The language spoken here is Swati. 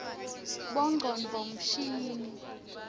bongcondvo mshini